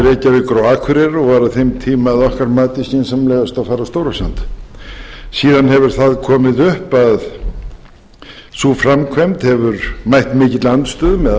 akureyrar og var á þeim tíma að okkar mati skynsamlegast að fara stórasand síðan hefur það komið upp að sú framkvæmd hefur mætt mikilli andstöðu meðal